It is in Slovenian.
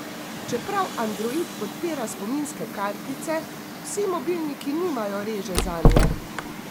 Čeprav android podpira spominske kartice, vsi mobilniki nimajo reže zanje.